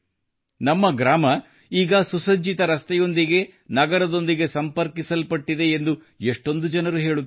ನಮ್ಮ ಗ್ರಾಮ ಈಗ ಸುಸಜ್ಜಿತ ರಸ್ತೆಗಳ ಮೂಲಕ ನಗರದೊಂದಿಗೆ ಸಂಪರ್ಕಿಸಲಾಗಿದೆ ಎಂದು ಎಷ್ಟೊಂದು ಜನರು ಹೇಳುತ್ತಾರೆ